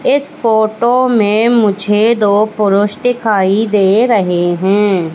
इस फोटो में मुझे दो पुरुष दिखाई दे रहे हैं।